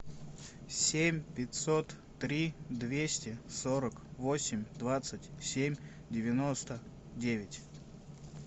семь пятьсот три двести сорок восемь двадцать семь девяносто девять